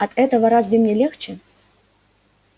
от этого разве мне легче